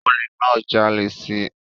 Olè náà ń jalè si